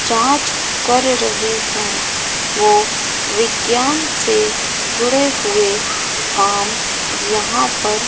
जांच कर रहे हैं वो विज्ञान से जुड़े हुए काम यहां पर--